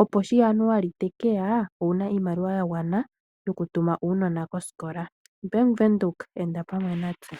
opo sho Januali teke ya owu na iimaliwa ya gwana yoku tuma uunona kosikola. Bank Windhoek enda pamwe natse.